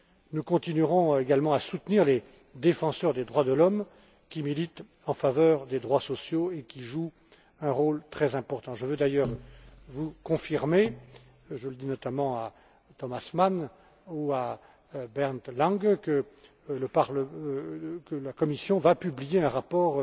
Nous continuerons également à soutenir les défenseurs des droits de l'homme, qui militent en faveur des droits sociaux et qui jouent un rôle très important. Je veux d'ailleurs vous confirmer et je le dis notamment à Thomas Mann et à Bernd Lange que la Commission va publier un rapport